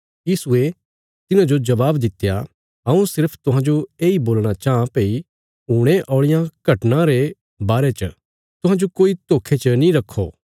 यीशुये तिन्हांजो जबाब दित्या हऊँ सिर्फ तुहांजो येई बोलणा चाँह भई हुणे औल़ियां घटनां रे बारे च तुहांजो कोई धोखे च नीं रक्खो